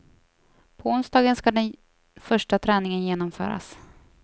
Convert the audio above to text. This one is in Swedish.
På onsdagen ska den första träningen genomföras.